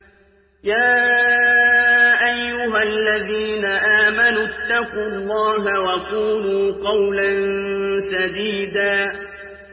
يَا أَيُّهَا الَّذِينَ آمَنُوا اتَّقُوا اللَّهَ وَقُولُوا قَوْلًا سَدِيدًا